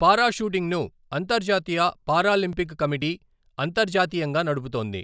పారా షూటింగ్ను, అంతర్జాతీయ Paralympic committee అంతర్జాతీయంగా నడుపుతోంది.